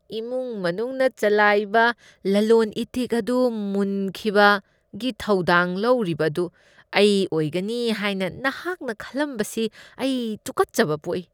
ꯏꯃꯨꯡ ꯃꯅꯨꯡꯅ ꯆꯂꯥꯏꯕ ꯂꯂꯣꯟ ꯏꯇꯤꯛ ꯑꯗꯨ ꯃꯨꯟꯈꯤꯕꯒꯤ ꯊꯧꯗꯥꯡ ꯂꯧꯔꯤꯕ ꯑꯗꯨ ꯑꯩ ꯑꯣꯏꯒꯅꯤ ꯍꯥꯏꯅ ꯅꯍꯥꯛꯅ ꯈꯟꯂꯝꯕ ꯁꯤ ꯑꯩ ꯇꯨꯀꯠꯆꯕ ꯄꯣꯛꯏ꯫